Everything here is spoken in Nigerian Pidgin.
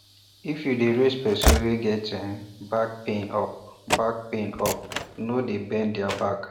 if you dey raise person wey get um back pain up back pain up no dey bend their back